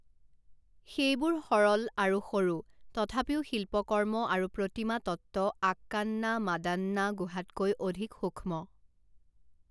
সেইবোৰ সৰল আৰু সৰু, তথাপিও শিল্পকৰ্ম আৰু প্ৰতিমাতত্ত্ব আক্কান্না মাদান্না গুহাতকৈ অধিক সূক্ষ্ম।